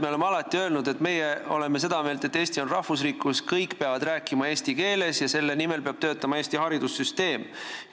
Me oleme alati öelnud, et meie oleme seda meelt, et Eesti on rahvusriik, kus kõik peavad rääkima eesti keeles, ja selle nimel peab Eesti haridussüsteem töötama.